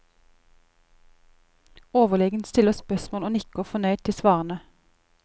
Overlegen stiller spørsmål og nikker fornøyd til svarene.